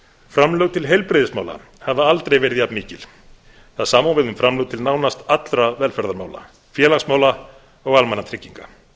framlög til heilbrigðismála hafa aldrei verið jafn mikil það sama á við um framlög til nánast allra velferðarmála félagsmála og almannatrygginga